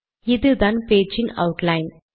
இதுதான் பேச்சின் அவுட்லைன்